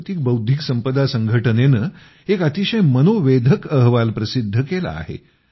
जागतिक बौद्धिक संपदा संघटनेने एक अतिशय मनोवेधक अहवाल प्रसिद्ध केला आहे